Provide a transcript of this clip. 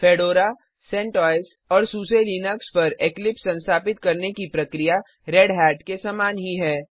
fedora CentOS और SUSE Linux पर Eclipse संस्थापित करने की प्रक्रिया रेढ़त के समान ही है